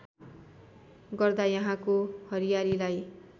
गर्दा यहाँको हरियालीलाई